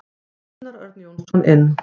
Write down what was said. Gunnar Örn Jónsson inn.